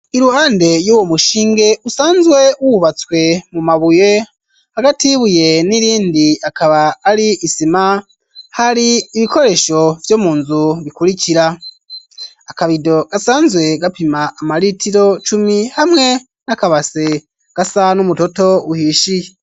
Iruhande y'uwo mushinge usanzwe wubatswe mu mabuye hagati yibuye n'irindi akaba ari isima, hari ibikoresho vyo munzu bikurikira: akabido gasanzwe gapima amaritiro cumi hamwe n'akabase gasa n'umutoto uhishiye.